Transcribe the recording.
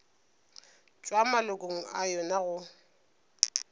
tšwa malokong a yona go